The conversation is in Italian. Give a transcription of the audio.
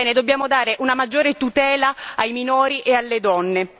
Dobbiamo dare una maggiore tutela ai minori e alle donne.